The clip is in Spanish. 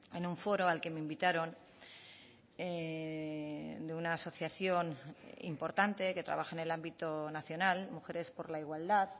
en un foro al que me invitaron de una asociación importante que trabaja en el ámbito nacional mujeres por la igualdad